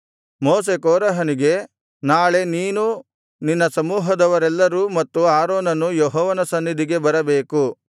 ಮೋಶೆ ಕೋರಹನಿಗೆ ನಾಳೆ ನೀನೂ ನಿನ್ನ ಸಮೂಹದವರೆಲ್ಲರೂ ಮತ್ತು ಆರೋನನೂ ಯೆಹೋವನ ಸನ್ನಿಧಿಗೆ ಬರಬೇಕು